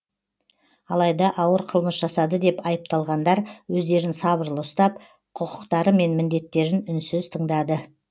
алайда ауыр қылмыс жасады деп айыпталғандар өздерін сабырлы ұстап құқықтары мен міндеттерін үнсіз тыңдады